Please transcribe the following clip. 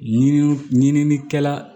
Ɲininiw ɲininikɛla